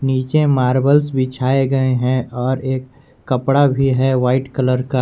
नीचे मार्बलस बिछाए गए हैं और एक कपडा भी है वाइट कलर का।